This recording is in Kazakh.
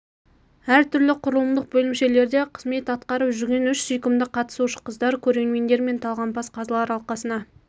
әр түрлі құрылымдық бөлімшелерде қызмет атқарып жүрген үш сүйкімді қатысушы қыздар көрермендер мен талғампаз қазылар алқасына